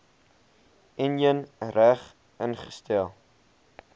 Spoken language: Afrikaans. enjin reg ingestel